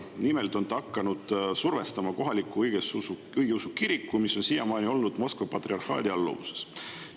Nimelt on ta hakanud survestama kohalikku õigeusu kirikut, mis on siiamaani olnud Moskva patriarhaadi alluvuses.